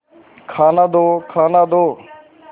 खाना दो खाना दो